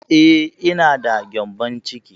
Eh, ina da gƴambon ciki